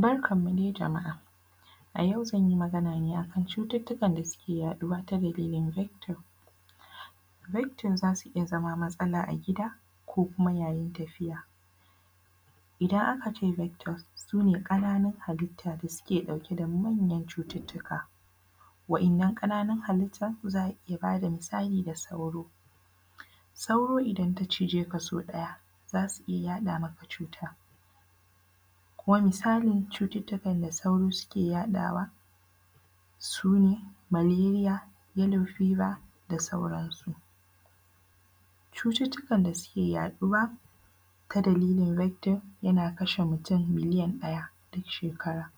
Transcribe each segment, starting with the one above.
Barkan mu dai jama’a, a yau zany i Magana ne akan cututtukan da ke yaɗuwa ta dalilin victim, victim zasu iya zama matsala a gida ko kuma yayin tafiya idan aka ce victims sune kananun hallita da suke dauke da manyan cututtuka waɗannan kananun hallita za a iya bada misali da sauro, sauro idan ta cije ka sau ɗaya zasu iya yaɗa maka cuta kuma misalin da cututtukan da sauro suke yaɗawa sune Malaria, yallow fiver da sauran su, cututtukan da suke yaɗuwa ta dalilin victim yana kasha mutum miliyan ɗaya duk shekara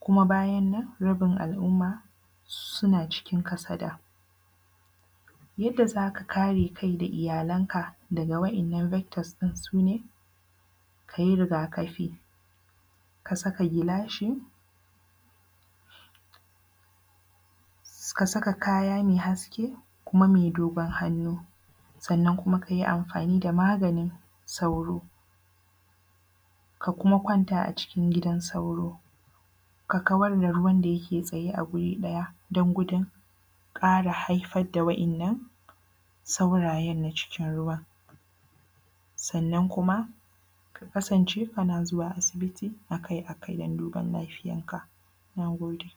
kuma bayan nan rabin al’umma suna cikin kasada, yadda zaka kare kai da iyalan ka daga waɗannan victus din sune kayi rigakafi, ka saka gilashi, ka saka kaya mai haske sannan kuma mai dogon hannu sannan kuma kayi amfani da maganin sauro, ka kuma kwanta a cikin gidan sauro, ka kawar da ruwan da yake tsaye a wuri ɗaya don gudun kara haifar da waɗannan saurayen na cikin ruwa sannan kuma ka kasance kana zuwa asibiti akai-akai don duban lafiyan ka, na gode.